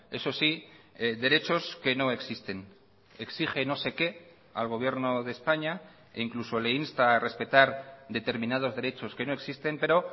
eso sí derechos que no existen exige no sé qué al gobierno de españa e incluso le insta a respetar determinados derechos que no existen pero